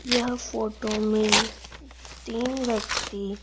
यह फोटो में तीन व्यक्ति--